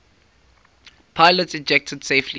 pilots ejected safely